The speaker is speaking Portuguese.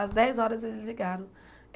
Às dez horas, eles ligaram.